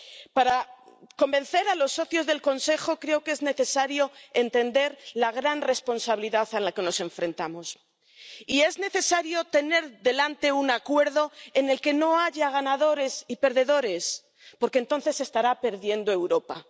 Para convencer a los socios del Consejo creo que es necesario entender la gran responsabilidad a la que nos enfrentamos y es necesario tener delante un acuerdo en el que no haya ganadores y perdedores porque entonces estará perdiendo Europa.